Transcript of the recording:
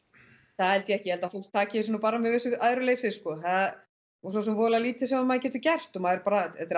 það held ég ekki ég held að fólk taki þessu bara með vissu æðruleysi og svosem voðalega lítið sem maður getur gert og maður er bara þetta er